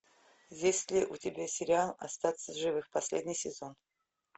есть ли у тебя сериал остаться в живых последний сезон